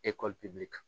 Ekɔli pepe